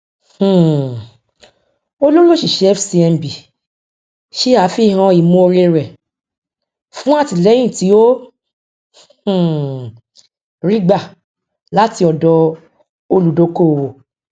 um olórí oṣíṣẹ fcmb ṣe àfihàn ìmọ oore rẹ fún àtìlẹyìn tí ó um rí gbà láti ọdọ olùdókówó